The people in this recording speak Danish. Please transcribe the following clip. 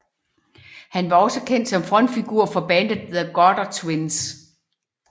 Han var også kendt som frontfigur for bandet The Gutter Twins